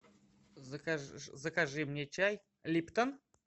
закажи мне чай липтон